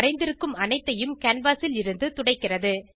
வரைந்திருக்கும் அனைத்தையும் கேன்வாஸ் லிருந்து துடைக்கிறது